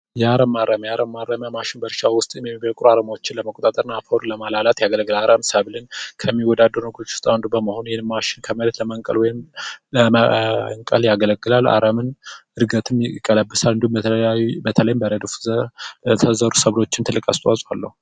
የአረብ ማረሚያ የአረብ ማረሚያ ማሽን በእርሻ ውስጥ ለመቆጣጠርና አፈሩን ለማላላት ያገለግላል አረም ሰብልን ከሚወዳደሩ ነገሮች አንዱ በመሆኑም ከመሬት ለመንቀል ያገለግላል የአረም እድገትን ይቀለብሳል እንዲሁም የተለያዩ ሰብሎች ላይ ትልቅ አስተዋጽኦ አለው።